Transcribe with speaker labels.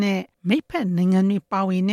Speaker 1: နဲ့ မိတ်ဖက်နိုင်ငံတွေပါဝင်တ